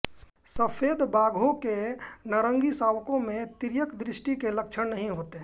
सफ़ेद बाघों के नारंगी शावकों में तिर्यकदृष्टि के लक्षण नहीं होते हैं